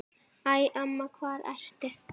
Æ, amma, hvar ertu?